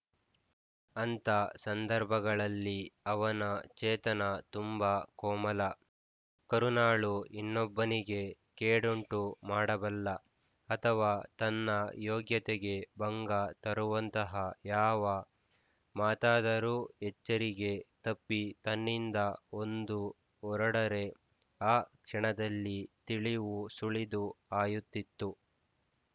ಅಂಥ ಸಂದರ್ಭಗಳಲ್ಲಿ ಅವನ ಚೇತನ ತುಂಬಾ ಕೋಮಲ ಕರುಣಾಳು ಇನ್ನೊಬ್ಬನಿಗೆ ಕೇಡುಂಟು ಮಾಡಬಲ್ಲ ಅಥವಾ ತನ್ನ ಯೋಗ್ಯತೆಗೆ ಭಂಗ ತರುವಂತಹ ಯಾವ ಮಾತಾದರೂ ಎಚ್ಚರಿಗೆ ತಪ್ಪಿ ತನ್ನಿಂದ ಒಂದು ಹೊರಡರೆ ಆ ಕ್ಷಣದಲ್ಲಿ ತಿಳಿವು ಸುಳಿದು ಹಾಯುತ್ತಿತ್ತು